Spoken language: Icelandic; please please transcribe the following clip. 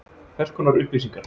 Hvers konar upplýsingar?